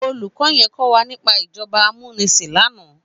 Ólúkò yèn kòwá nipá ijòbá àmúnisín làná